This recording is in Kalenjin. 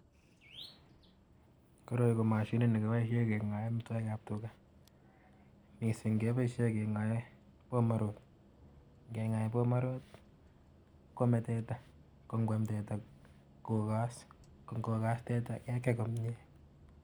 koroi ko mashinit ne kipaishe kengae amitwogik ap tugaa mising kepaishe kengae bomarode. ngengae bomarhode koame teta. ko ngwam teta kokas ko ngokas teta kekei komie.